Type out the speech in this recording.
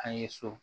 An ye so